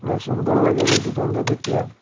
অনেক সুন্দর লাগেরেই দুকানটা দেকিয়া।